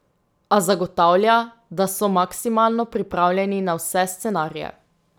A zagotavlja, da so maksimalno pripravljeni na vse scenarije.